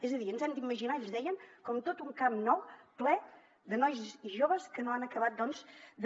és a dir ens hem d’imaginar ells deien com tot un camp nou ple de nois i joves que no han acabat doncs de